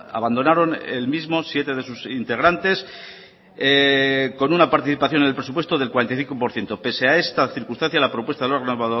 abandonaron el mismo siete de sus integrantes con una participación en el presupuesto del cuarenta y cinco por ciento pese a esta circunstancia la propuesta del órgano